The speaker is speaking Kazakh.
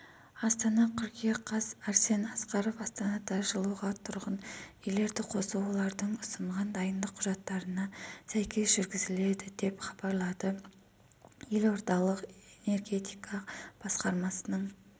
астана қыркүйек қаз арсен асқаров астанада жылуға тұрғын үйлерді қосу олардың ұсынған дайындық құжаттарына сәйкес жүргізіледі деп хабарлады елордалық энергетика басқармасының